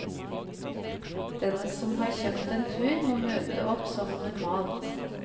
Den som har kjøpt en tur, må møte opp som normalt.